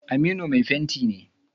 Aminu mai fenti ne.